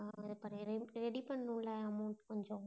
ஆஹ் ஆஹ் ready பண்ணனும்ல amount கொஞ்சம்?